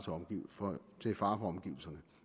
for omgivelserne